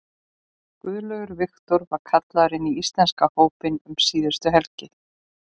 Guðlaugur Victor var kallaður inn í íslenska hópinn um síðustu helgi.